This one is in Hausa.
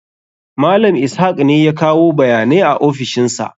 Malam Ishak ne yake kawo bayanai a ofishin sa.